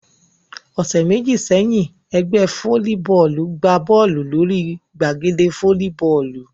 Ọ̀sẹ̀ méjì sẹ́yìn, ẹgbẹ́ fólíbọọlù gbá Bọ́ọ̀lù lórí gbàgede fólíbọọlù